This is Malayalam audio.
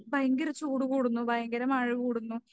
ഭയങ്കര ചൂട് കൂടുന്നു ഭയങ്കര മഴ കൂടുന്നു